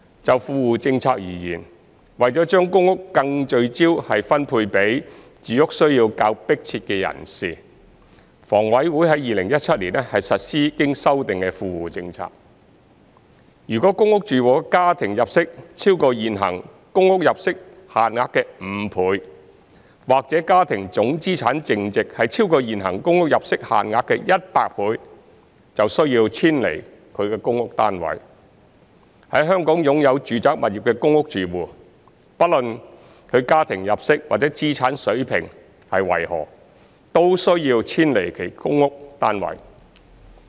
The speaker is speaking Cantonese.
就富戶政策而言，為了將公屋更聚焦地分配給住屋需要較迫切的人士，房委會於2017年實施經修訂的富戶政策，若公屋住戶的家庭入息超過現行公屋入息限額5倍，或家庭總資產淨值超過現行公屋入息限額100倍，便需要遷離他的公屋單位；在香港擁有住宅物業的公屋住戶，不論他的家庭入息或資產水平為何，都需要遷離其公屋單位。